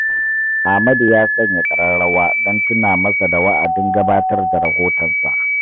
Amadu ya sanya ƙararrawa don tuna masa da wa’adin gabatar da rahotonsa.